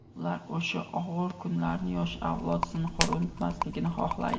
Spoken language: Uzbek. Ular o‘sha og‘ir kunlarni yosh avlod zinhor unutmasligini xohlaydi.